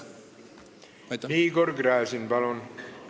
Igor Gräzin, palun!